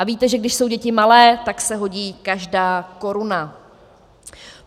A víte, že když jsou děti malé, tak se hodí každá koruna.